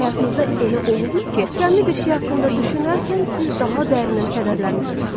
Həyatınızda elə olubmu ki, qəmli bir şey haqqında düşünərkən siz daha dərindən kədərlənmisiniz?